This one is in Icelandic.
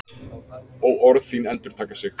Og orð þín endurtaka sig.